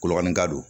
Kologanikalo